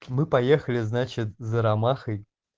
мы поехали значит за ромахой